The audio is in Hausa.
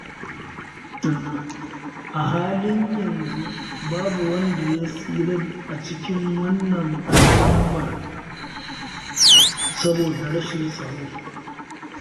A halin yanzu babu wanda ya tsira a cikin wannan al'ummar, saboda matsalar rashin tsaro.